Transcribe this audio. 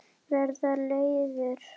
Vera leiður?